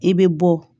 I bɛ bɔ